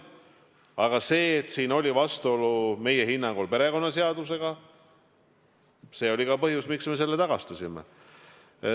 Aga see, et siin oli vastuolu meie hinnangul perekonnaseadusega, oli ka põhjus, miks me selle raha tagastasime.